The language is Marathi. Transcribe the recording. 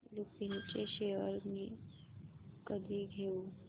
लुपिन चे शेअर्स मी कधी घेऊ